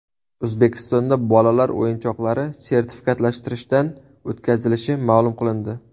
O‘zbekistonda bolalar o‘yinchoqlari sertifikatlashtirishdan o‘tkazilishi ma’lum qilindi.